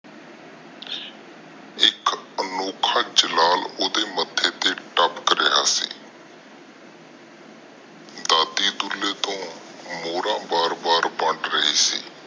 ਅਨੋਖਾ ਜਲਾਲ ਓਹਦੇ ਮੱਥੇ ਤੇ ਤਪਾਕ ਰਿਹਾ ਸੀ ਦਾਦੀ ਦੁਲੇ ਤੋਂ ਮੋਹਰਾ ਵਾਰ ਵਾਰ ਵੰਦ ਰਹੀ ਸੀ